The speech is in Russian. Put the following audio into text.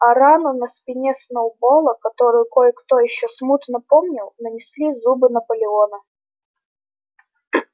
а рану на спине сноуболла которую кое-кто ещё смутно помнил нанесли зубы наполеона